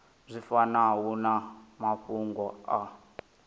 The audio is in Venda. zwi fanaho na mafhungo a